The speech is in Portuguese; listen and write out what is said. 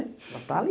Mas tá ali.